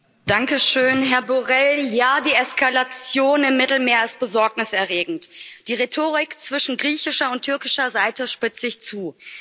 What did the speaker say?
Herr Präsident, Herr Borrell! Ja, die Eskalation im Mittelmeer ist besorgniserregend. Die Rhetorik zwischen griechischer und türkischer Seite spitzt sich zu.